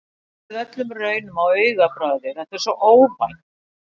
Gleymir öllum raunum á augabragði, þetta er svo óvænt.